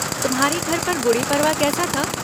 तुम्हारे घर पर गुड़ी पड़वा कैसा था?